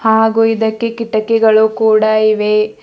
ಹಾಗು ಇದಕ್ಕೆ ಕಿಟಕಿಗಳು ಕೂಡ ಇವೆ.